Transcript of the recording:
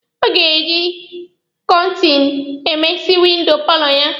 Ọ ga-eji kọọtinụ emesi windo paalọ ya.